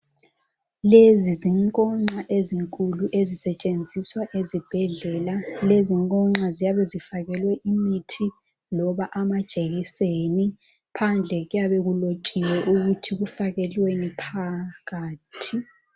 Lezi zinkonxa ezinkulu, ezisetshenziswa ezibhedlela. Lezinkonxa ziyabe zifakelwe imithi loba amajekiseni. Phandle kuyabe kulotshiwe ukuthi kufakelweni phakathi.